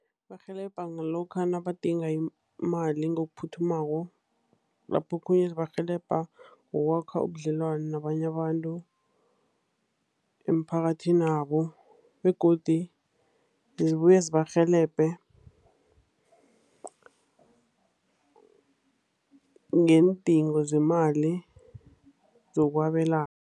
Zibarhelebha ngalokha nabadinga imali ngokuphuthumako, lapho okhunye zibarhelebha ngokwakha ubudlelwano nabanye abantu emphakathinabo, begodu zibuye zibarhelebhe ngeendingo zemali zokwabelana.